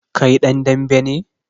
Kai dan dambe ne?